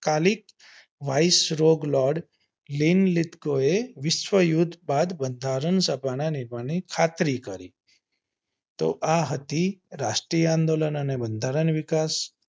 ખાલી vicerog loard lean લીપ્તોકે વિશ્વયુધ બંધારણ બનાવવાની ખાતરી કરી તો આ હતી રાષ્ટ્રીય આંદોલન અને બંધારણ વિકાસ